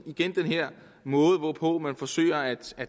igen den her måde hvorpå man forsøger at